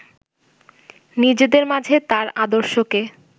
নিজেদের মাঝে তার আদর্শকে